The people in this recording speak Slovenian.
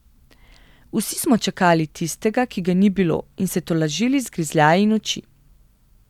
Vsi smo čakali tistega, ki ga ni bilo, in se tolažili z grižljaji noči.